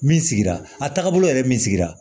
Min sigira a taagabolo yɛrɛ min sigira